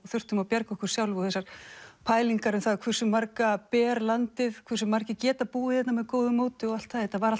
þurftum að bjarga okkur sjálf og þessar pælingar um það hversu marga ber landið hversu margir geta búið hérna með góðu móti og allt það þetta var